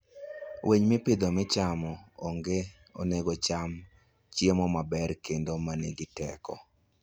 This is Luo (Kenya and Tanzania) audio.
Winy mopidhi michamo onego ocham chiemo maber kendo ma nigi teko.